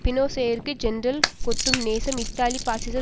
பினோசேயிற்கு ஜேர்னல் கொட்டும் நேசம் இத்தாலிய பாசிச